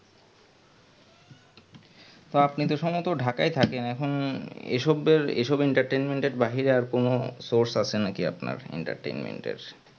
তো আপনি তো সম্ভমত Dhaka এ থাকেন এখন এসবের এসব entertainment এর বাইরে আর কনো source আছে নাকি আপনার entertainment এর